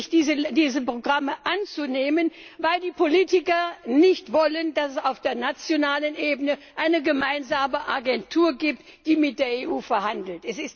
ist, diese Programme wirklich anzunehmen, weil die Politiker nicht wollen, dass es auf der nationalen Ebene eine gemeinsame Agentur gibt, die mit der EU verhandelt?